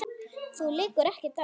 Þér liggur ekkert á.